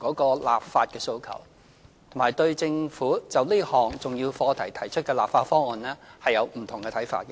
立法的訴求，並對政府就這項重要課題提出的立法方案的不同看法。